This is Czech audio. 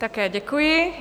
Také děkuji.